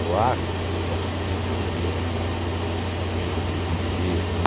O ar, eu acho que sempre me deu essa essa coisa de viver, né?